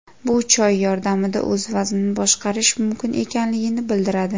Bu choy yordamida o‘z vaznini boshqarish mumkin ekanligini bildiradi.